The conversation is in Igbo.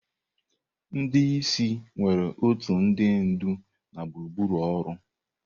Ndị isi nwere otu ndị ndu na gburugburu ọrụ.